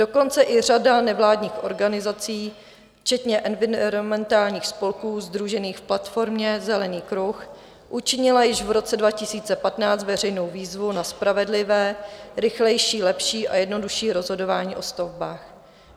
Dokonce i řada nevládních organizací včetně environmentálních spolků sdružených v platformě Zelený kruh učinila již v roce 2015 veřejnou výzvu za spravedlivé, rychlejší, lepší a jednodušší rozhodování o stavbách.